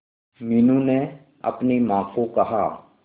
मीनू ने अपनी मां को कहा